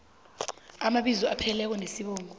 amabizo apheleleko nesibongo